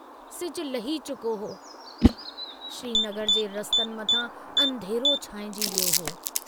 सिजु लही चुको हो, श्रीनगर जे रस्तनि मथां अंधेरो छांइजी वियो हो।